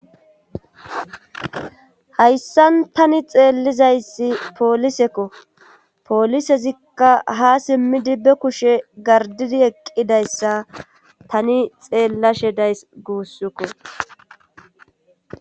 hayssan tani xeellizayssi poolisekko poolisezikka ha simmidi be kushe gardidi eqqidayssa tani xeellashe dayss guussukko